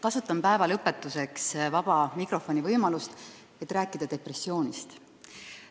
Kasutan päeva lõpetuseks vaba mikrofoni võimalust, et rääkida depressioonist.